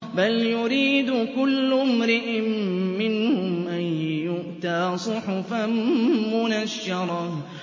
بَلْ يُرِيدُ كُلُّ امْرِئٍ مِّنْهُمْ أَن يُؤْتَىٰ صُحُفًا مُّنَشَّرَةً